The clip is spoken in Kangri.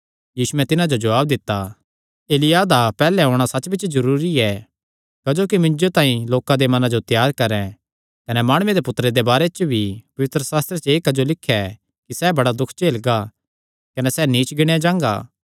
यीशुयैं तिन्हां जो जवाब दित्ता एलिय्याह दा सच्च बिच्च पैहल्ले औणां जरूरी ऐ क्जोकि मिन्जो तांई लोकां दे मनां जो त्यार करैं कने माणुये दे पुत्तरे दे बारे च भी पवित्रशास्त्रे च एह़ क्जो लिख्या ऐ कि सैह़ बड़े दुख झेलगा कने सैह़ नीच गिणयां जांगा